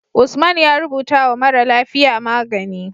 Usman ya rubata wa mara lafiya magani